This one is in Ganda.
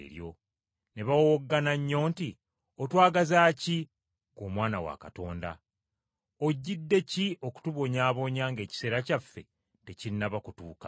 Ne bawowoggana nnyo nti, “Otwagaza ki, ggwe Omwana wa Katonda! Ojjidde ki okutubonyaabonya ng’ekiseera kyaffe tekinnaba kutuuka?”